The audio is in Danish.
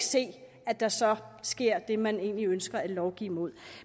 se at der så sker det man egentlig ønsker at lovgive imod